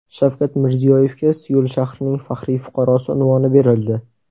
Shavkat Mirziyoyevga Seul shahrining faxriy fuqarosi unvoni berildi.